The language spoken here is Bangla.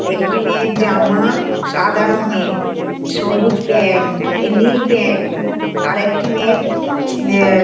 একটি মেয়ের জামা সাদা রঙের সবুজ প্যান্ট এ নীল প্যান্ট আর একটি মেয়ের ছু অ্যা--